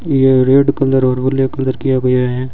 ये red colour और black colour किया गया है।